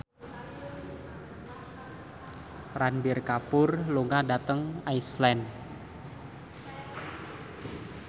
Ranbir Kapoor lunga dhateng Iceland